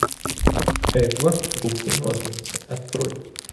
эдвард руки ножницы открой